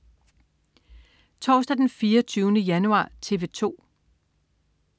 Torsdag den 24. januar - TV 2: